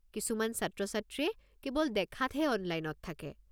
কিছুমান ছাত্ৰ-ছাত্ৰীয়ে কেৱল দেখাত হে অনলাইনত থাকে।